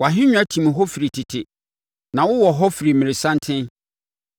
Wʼahennwa tim hɔ firi tete; na wowɔ hɔ firi mmerɛsanten.